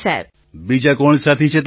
પ્રધાનમંત્રી બીજા કોણ સાથી છે તમારી સાથે